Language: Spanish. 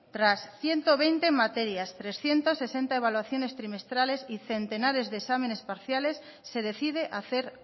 tras ciento veinte materias trescientos sesenta evaluaciones trimestrales y centenares de exámenes parciales se decide hacer